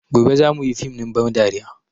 Gobe za mu yi fim ɗin ban dariya